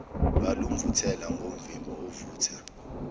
lwalumvuthela ngomvimbo ovutha